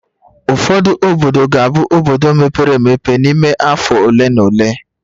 Ụfọdụ obodo ga-abụ obodo mepere emepe n'ime afọ ole na ole